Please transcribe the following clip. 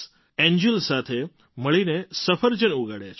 angle સાથે મળીને સફરજન ઉગાડ્યાં છે